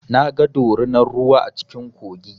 Na ga dorunar ruwa a cikin kogi.